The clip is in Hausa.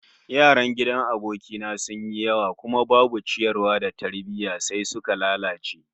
Yaran gidan aboki na sun yi yawa kuma babu ciyarwa da tarbiyya, sai suka lalace